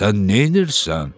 Sən neynirsən?